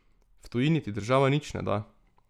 V tujini ti država nič ne da.